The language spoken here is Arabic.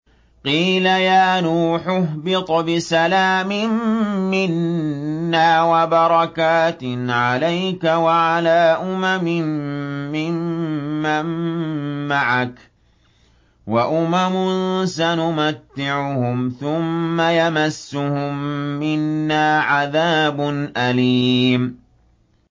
قِيلَ يَا نُوحُ اهْبِطْ بِسَلَامٍ مِّنَّا وَبَرَكَاتٍ عَلَيْكَ وَعَلَىٰ أُمَمٍ مِّمَّن مَّعَكَ ۚ وَأُمَمٌ سَنُمَتِّعُهُمْ ثُمَّ يَمَسُّهُم مِّنَّا عَذَابٌ أَلِيمٌ